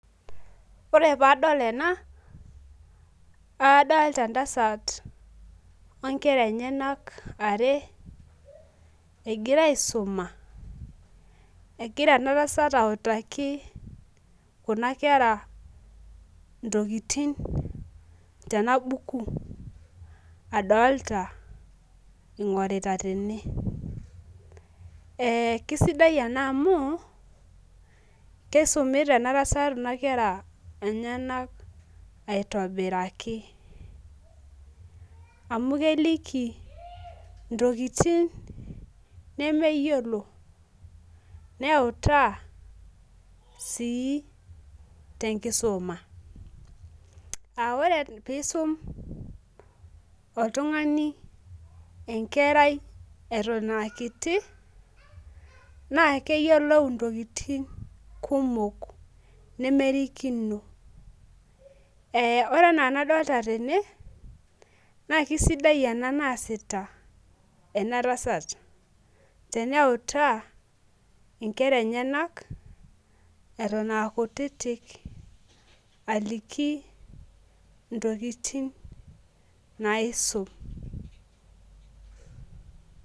Ore pee adol ena naa kadolta entasat inkera enyenak are. egira aisuma. egira ena tasat sitaki Kuna kera ntokitin. tena bukui. adoolta ingorita tene. kisidai ena amu kisumita ena tasat Kuna kera, enyenak aitobiraki, amu keliki ntokitin nemeyiolo neutaa sii tenkisuma. ore pee isum oltungani enkerai Eton aa kitu. naa keyiolou ntokitin kumok nemerikino. kee ore enaa enadoolta tene. naa kisidai ena naasita ena tasat. teneutaa nekrs enyenak Eton aa kutitik. aliki ntokitin naisum